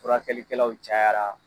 Furakɛlikɛlaw cayara !